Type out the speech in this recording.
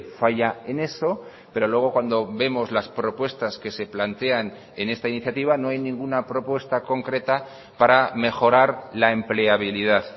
falla en eso pero luego cuando vemos las propuestas que se plantean en esta iniciativa no hay ninguna propuesta concreta para mejorar la empleabilidad